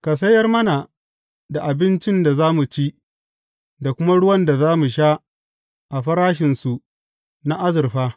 Ka sayar mana da abincin da za mu ci, da kuma ruwan da za mu sha a farashinsu na azurfa.